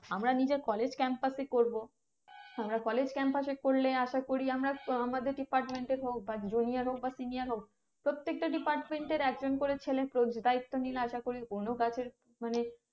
আমরা নিজের college campus এ করবো আমরা college campus এ করলে আসা করি আমরা আমাদের department এর হোক বা junior হোক বা senior হোক প্রত্যেকটা department একজন করে ছেলেদায়িত্ব নিলে আসা করি কোনো গাছের মানে